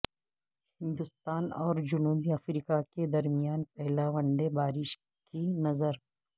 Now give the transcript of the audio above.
ہندستان اور جنوبی افریقہ کے درمیان پہلا ون ڈے بارش کی نظر